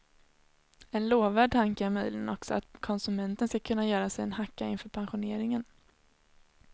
En lovvärd tanke är möjligen också att konsumenten skall kunna göra sig en hacka inför pensioneringen.